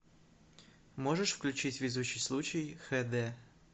можешь включить везучий случай хэ дэ